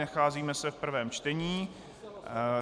Nacházíme se v prvém čtení.